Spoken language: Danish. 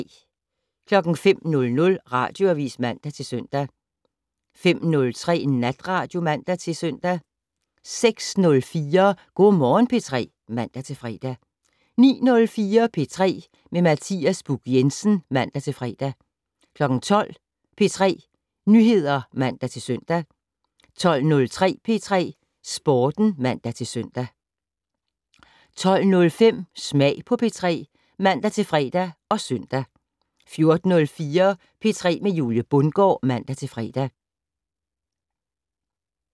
05:00: Radioavis (man-søn) 05:03: Natradio (man-søn) 06:04: Go' Morgen P3 (man-fre) 09:04: P3 med Mathias Buch Jensen (man-fre) 12:00: P3 Nyheder (man-søn) 12:03: P3 Sporten (man-søn) 12:05: Smag på P3 (man-fre og søn) 14:04: P3 med Julie Bundgaard (man-fre) 15:04: P3 Sporten (man-fre) 15:06: P3 med Julie Bundgaard, fortsat (man-fre)